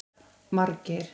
Margeir